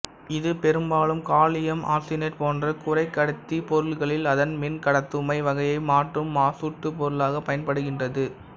இது பெரும்பாலும் gallium arsenide போன்ற குறைக்கடத்திப் பொருள்களில் அதன் மின்கடத்துமை வகையை மாற்றும் மாசூட்டுப் பொருளாக பயன்படுகின்றது